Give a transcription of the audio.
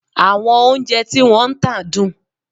Àwọn oúnjẹ tí wọ́n ń tà dùn?